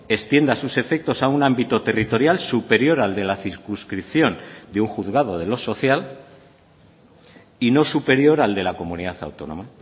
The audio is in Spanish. extienda sus efectos a un ámbito territorial superior al de la circunscripción de un juzgado de lo social y no superior al de la comunidad autónoma